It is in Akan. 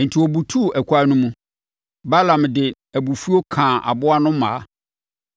Enti, ɔbutuu ɛkwan no mu. Balaam de abufuo kaa aboa no mmaa.